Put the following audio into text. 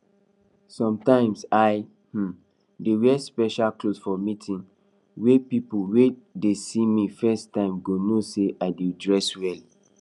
sometimes i um dey wear special clothes for meetings wey people wey dey see me first time go know say i dey dress well